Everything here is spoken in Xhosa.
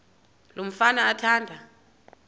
lo mfana athanda